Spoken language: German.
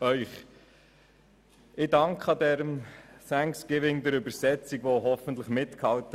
Ich danke der Übersetzung, die mir hoffentlich hat folgen können.